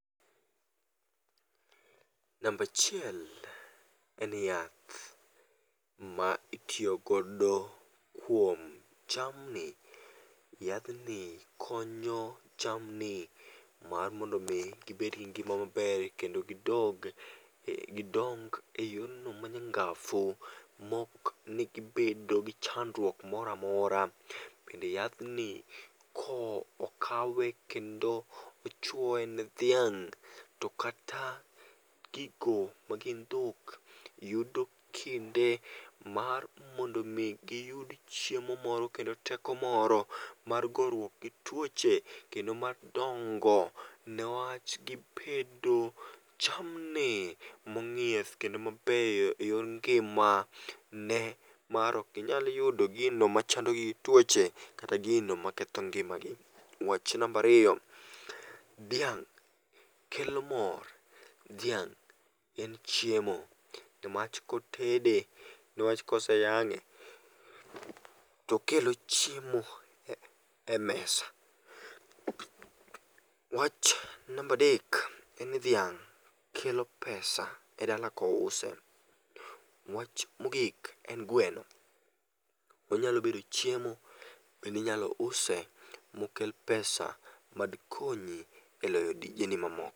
Number achiel en yath ma itiyogodo kuom jamni, yathni konyo jamni mar mondo mi gibed gi ngi'ma maber kendo gidong' gidong' e yorno manyanga'fu ma okni gibedo gi chandruok mora mora, bende yathni ko okawe kendo ochuoye ne dhiang' to kata gigo ma gin dhok yudo kinde mar mondo mi giyud chiemo moro kod teko moro mar goruok gi tuoche kendo mar dongo ne wach gibedo jamni monge'o yath kendo mabeyo e yor ngi'ma ne mar okinyal yudo gino machandogi gi twoche kata gino maketho ngi'magi. Wach number ariyo dhiang' kelo mor, dhiang' en chiemo newach kotede ne wach kose yange' tokelo chiemo e mesa. Wach number dek en ni dhiang' kelo pesa e dala kouse. Wach mogik en gweno onyalo bedo chiemo bende inyalo use mokel pesa madikonyi e loyo tijeni mamoko.